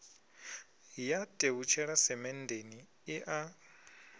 ya tevhutshela semenndeni i a